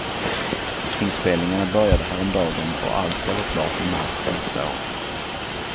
Inspelningarna började häromdagen och allt ska vara klart i mars nästa år.